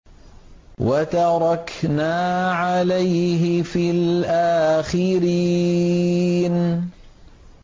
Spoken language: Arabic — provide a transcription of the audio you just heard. وَتَرَكْنَا عَلَيْهِ فِي الْآخِرِينَ